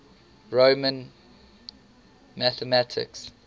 roman mathematics